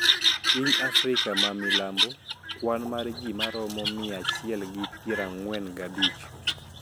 Piny Afrika ma milambo, kwan mar ji maromo mia achiel gi pier ang`wen gabich